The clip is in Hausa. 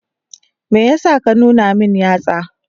Me yasa ka nuna min yatsa?